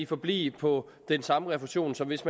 forblive på den samme refusion som hvis